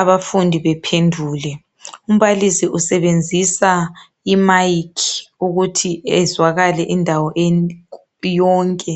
abafundi bephendule. Umbalisi usebenzisa imayikhi ukuthi ezwakale indawo yonke.